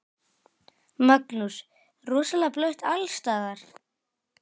Magnús: Rosalega blautt alls staðar?